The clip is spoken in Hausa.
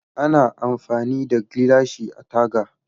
Ana amfani da gilashi a taga.